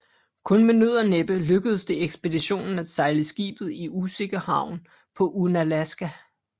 Kun med nød og næppe lykkedes det ekspeditionen at sejle skibet i sikker havn på Unalaska